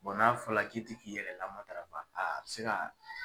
n'a fɔla k'i ti k'i yɛrɛ lamatara a bi se ka